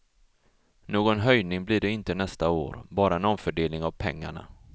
Någon höjning blir det inte nästa år, bara en omfördelning av pengarna.